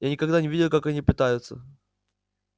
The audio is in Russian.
я никогда не видел как они питаются